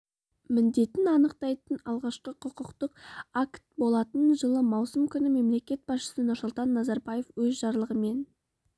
міндетін анықтайтын алғашқы құқықтық акт болатын жылы маусым күні мемлекет басшысы нұрсұлтан назарбаев өз жарлығымен